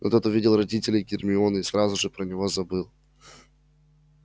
но тут увидел родителей гермионы и сразу же про него забыл